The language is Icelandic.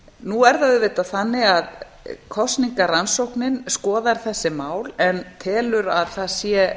nú er það auðvitað þannig að kosningarannsóknin skoðar þessi mál en telur að það